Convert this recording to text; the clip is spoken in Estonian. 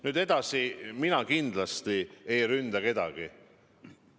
Nüüd edasi: mina kindlasti ei ründa kedagi.